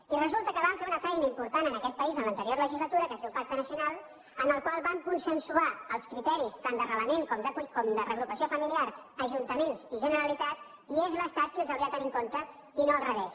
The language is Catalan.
i resulta que vam fer una feina important en aquest país en l’anterior legislatura que es diu pacte nacional en el qual vam consensuar els criteris tant d’arrelament com de reagrupament fami·liar ajuntaments i generalitat i és l’estat qui els hau·ria de tenir en compte i no al revés